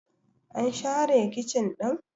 an share kicin ɗin?